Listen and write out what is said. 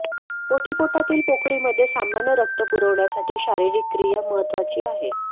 ओटीपोटातील पोकळीमध्ये सामान्य रक्त पुरवठ्यासाठी शारीरिक क्रिया महत्वाची आहे